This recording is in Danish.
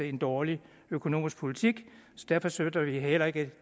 en dårlig økonomisk politik derfor støtter vi heller ikke